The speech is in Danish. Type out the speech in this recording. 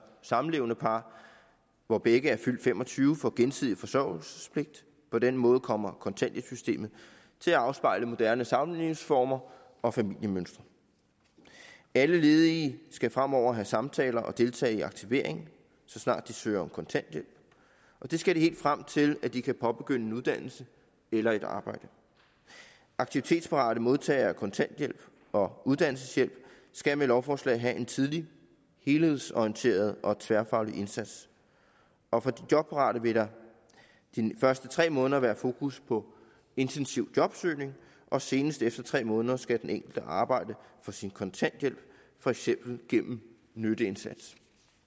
samlevende par hvor begge er fyldt fem og tyve år får gensidig forsørgelsespligt på den måde kommer kontanthjælpssystemet til at afspejle moderne samlivsformer og familiemønstre alle ledige skal fremover have samtaler og deltage i aktivering så snart de søger om kontanthjælp og det skal de helt frem til at de kan påbegynde en uddannelse eller et arbejde aktivitetsparate modtagere af kontanthjælp og uddannelseshjælp skal med lovforslaget have en tidlig helhedsorienteret og tværfaglig indsats og for de jobparate vil der de første tre måneder være fokus på intensiv jobsøgning og senest efter tre måneder skal den enkelte arbejde for sin kontanthjælp for eksempel gennem en nytteindsats